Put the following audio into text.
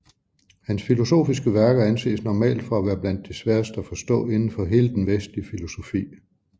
Hans filosofiske værker anses normalt for at være blandt de sværeste at forstå inden for hele den vestlige filosofi